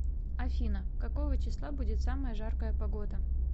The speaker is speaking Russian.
афина какого числа будет самая жаркая погода